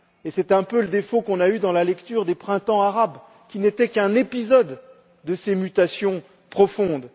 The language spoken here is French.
C'est un peu le défaut qu'on a eu dans la lecture des Printemps arabes, qui n'étaient qu'un épisode de ces mutations profondes.